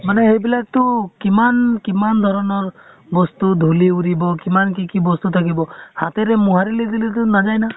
মানে সেইবিলাক টো কিমান কিমান ধৰণৰ বস্তু, ধুলি উৰিব কিমান কি বস্তু থাকিব। হাতেৰে মুহাঁৰিলে দিলেটো নাযায় না।